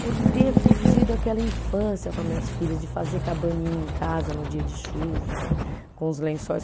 por ter curtido aquela infância com as minhas filhas, de fazer cabaninha em casa no dia de chuva, com os lençóis.